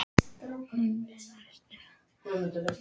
Mummi, læstu útidyrunum.